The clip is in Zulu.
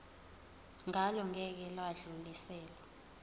ngalo ngeke lwadluliselwa